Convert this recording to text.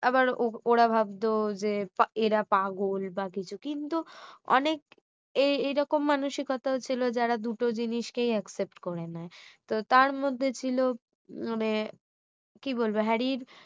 আবার ওরা ভাবতো যে এরা পাগল বা কিছু কিন্তু অনেক এই এরকম মানসিকতা ছিল যারা দুটো জিনিসকেই accept করে নেয় তো তার মধ্যে ছিল মানে কি বলবে হ্যারির